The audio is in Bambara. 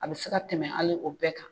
A bɛ se ka tɛmɛ hali o bɛɛ kan